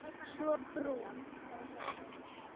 Svo brún.